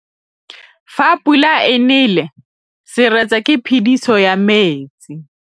Fa pula e nelê serêtsê ke phêdisô ya metsi.